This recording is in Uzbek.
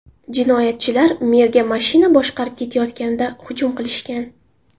Jinoyatchilar merga mashina boshqarib ketayotganida hujum qilishgan.